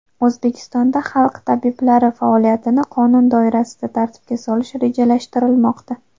O‘zbekistonda xalq tabiblari faoliyatini qonun doirasida tartibga solish rejalashtirilmoqda.